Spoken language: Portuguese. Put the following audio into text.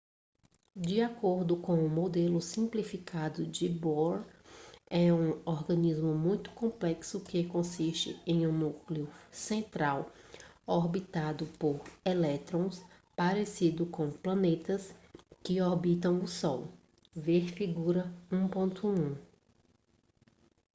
de acordo com um modelo simplificado de bohr é um organismo muito complexo que consiste de um núcleo central orbitado por elétrons parecido com planetas que orbitam o sol ver figura 1.1